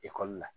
Ekɔli la